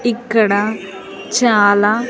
ఇక్కడ చాలా.